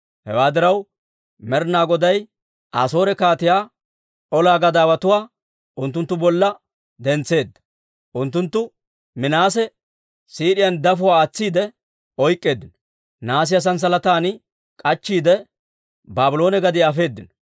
Hewaa diraw, Med'inaa Goday Asoore kaatiyaa ola gadaawotuwaa unttunttu bolla dentseedda; unttunttu Minaase siid'iyaan dafuwaa aatsiide oyk'k'eeddino; nahaasiyaa sanssalatan k'achchiide, Baabloone gadiyaa afeedino.